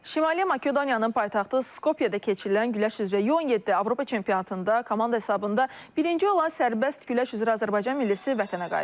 Şimali Makedoniyanın paytaxtı Skopyada keçirilən güləş üzrə 17 Avropa çempionatında komanda hesabında birinci olan sərbəst güləş üzrə Azərbaycan millisi vətənə qayıdıb.